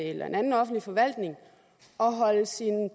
i en anden offentlig forvaltning